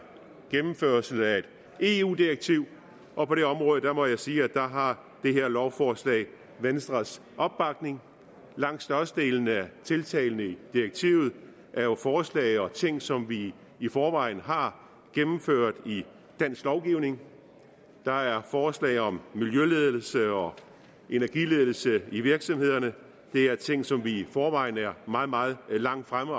gennemførelse af et eu direktiv og på det område må jeg sige at det her lovforslag har venstres opbakning langt størstedelen af tiltagene i direktivet er jo forslag og ting som vi i forvejen har gennemført i dansk lovgivning der er forslag om miljøledelse og energiledelse i virksomhederne det er ting som vi i forvejen er meget meget langt fremme